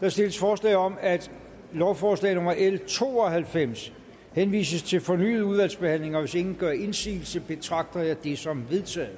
der stilles forslag om at lovforslag nummer l to og halvfems henvises til fornyet udvalgsbehandling og hvis ingen gør indsigelse betragter jeg det som vedtaget